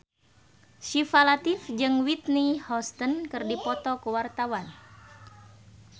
Syifa Latief jeung Whitney Houston keur dipoto ku wartawan